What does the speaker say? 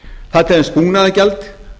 það er til dæmis búnaðargjald